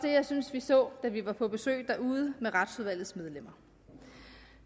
jeg synes vi så da vi var på besøg derude med retsudvalgets medlemmer